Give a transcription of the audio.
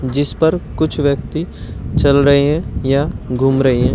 जिस पर कुछ व्यक्ति चल रहे हैं या घूम रहे हैं।